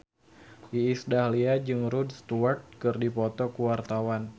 Iis Dahlia jeung Rod Stewart keur dipoto ku wartawan